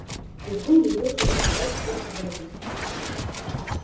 визгун явился рассказать всем об этом